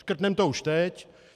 Škrtneme to už teď.